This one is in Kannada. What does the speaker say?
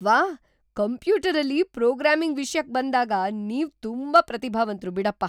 ವಾಹ್! ಕಂಪ್ಯೂಟರಲ್ಲಿ ಪ್ರೋಗ್ರಾಮಿಂಗ್ ವಿಷ್ಯಕ್ ಬಂದಾಗ ನೀವ್ ತುಂಬಾ ಪ್ರತಿಭಾವಂತ್ರು‌ ಬಿಡಪ್ಪ!